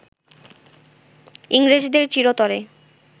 ইংরেজদের চিরতরে